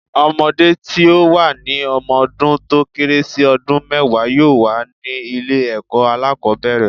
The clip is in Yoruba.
Ọmọdé tí ó wà ní ọmọ dún tó kéré sí ọdún mẹ́wàá yóò wà ní ilé ẹ̀kọ́ alákòbẹ̀rẹ̀.